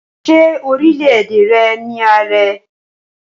Ṣé orílẹ̀-èdè rẹ ní ààrẹ?